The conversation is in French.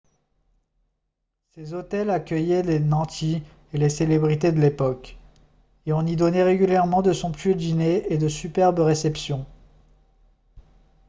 ces hôtels accueillaient les nantis et les célébrités de l'époque et on y donnait régulièrement de somptueux dîners et de superbes réceptions